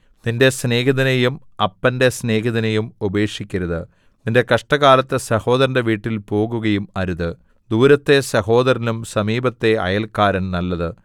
നിന്റെ സ്നേഹിതനെയും അപ്പന്റെ സ്നേഹിതനെയും ഉപേക്ഷിക്കരുത് നിന്റെ കഷ്ടകാലത്ത് സഹോദരന്റെ വീട്ടിൽ പോകുകയും അരുത് ദൂരത്തെ സഹോദരനിലും സമീപത്തെ അയല്ക്കാരൻ നല്ലത്